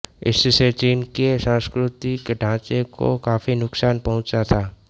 इससे चीन के सांस्कृतिक ढांचे को काफ़ी नुकसान पहुंचा था